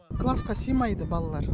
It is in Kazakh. классқа сыймайды балалар